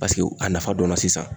Paseke a nafa dɔnna sisan.